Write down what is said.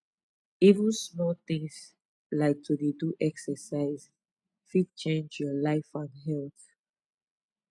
even small things like to dey do exercise fit change your life and health